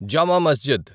జామా మస్జిద్